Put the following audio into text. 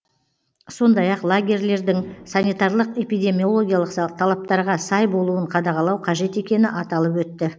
сондай ақ лагерлердің санитарлық эпидемиологиялық талаптарға сай болуын қадағалау қажет екені аталып өтті